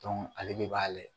Dɔn ale de b'a layɛ